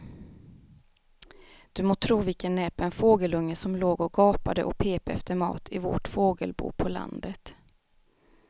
Du må tro vilken näpen fågelunge som låg och gapade och pep efter mat i vårt fågelbo på landet.